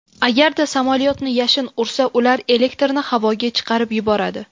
Agarda samolyotni yashin ursa, ular elektrni havoga chiqarib yuboradi.